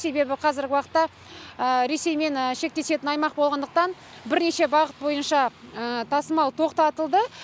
себебі қазіргі уақытта ресеймен шектесетін аймақ болғандықтан бірнеше бағыт бойынша тасымал тоқтатылды